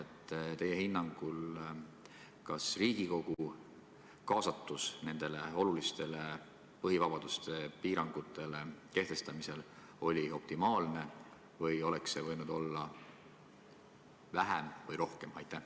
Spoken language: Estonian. Kas teie hinnangul oli Riigikogu kaasatus nendele olulistele põhivabadustele piirangute kehtestamisel optimaalne või oleks see võinud olla väiksem või suurem?